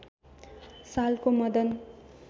सालको मदन